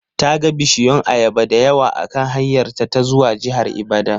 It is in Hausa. Ta ga bishiyun ayaba dayawa akan hanyarta ta zuwa jihar Ibadan.